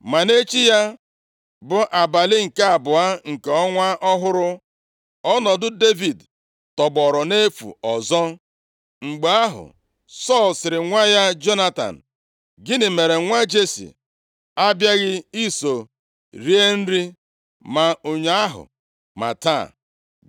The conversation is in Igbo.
Ma nʼechi ya, bụ abalị nke abụọ nke ọnwa ọhụrụ, ọnọdụ Devid tọgbọrọ nʼefu ọzọ. Mgbe ahụ, Sọl sịrị nwa ya Jonatan, “Gịnị mere nwa Jesi abịaghị iso rie nri, ma ụnyaahụ ma taa?”